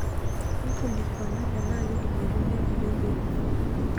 Nkulikuana tenaa keidimi aitumiya kulie keek.